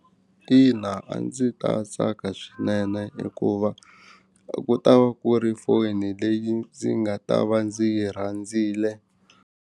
Ina a ndzi ta tsaka swinene hikuva a ku ta va ku ri foni leyi ndzi nga ta va ndzi yi rhandzile.